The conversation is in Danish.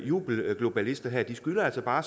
jubelglobalister skylder os bare